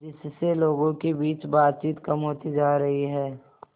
जिससे लोगों के बीच बातचीत कम होती जा रही है